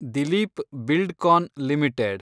Dilip Buildcon limited